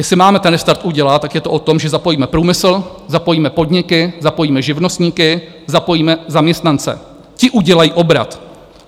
Jestli máme ten restart udělat, tak je to o tom, že zapojíme průmysl, zapojíme podniky, zapojíme živnostníky, zapojíme zaměstnance, ti udělají obrat.